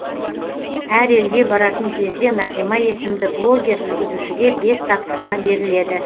әр елге баратын кезде нағима есімді блогер жүргізушіге бес тапсырма беріледі